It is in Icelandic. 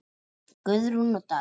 Guðrún og Daði.